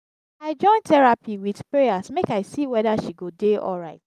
i join terapi wit prayers make i see weda she go dey alright.